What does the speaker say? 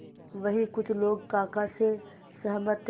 वहीं कुछ लोग काका से सहमत थे